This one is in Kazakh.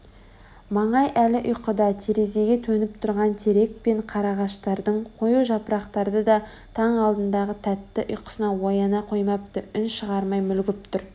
маңай әлі ұйқыда терезеге төніп тұрған терек пен қарағаштардың қою жапырақтары да таң алдындағы тәтті ұйқысынан ояна қоймапты үн шығармай мүлгіп тұр